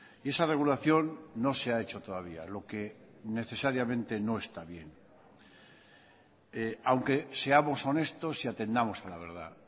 y esa regulación no se ha hecho todavía lo que necesariamente no está bien aunque seamos honestos y atendamos a la verdad